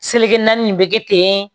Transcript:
Seleke naani bɛ kɛ ten